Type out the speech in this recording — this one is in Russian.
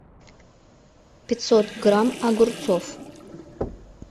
пятьсот грамм огурцов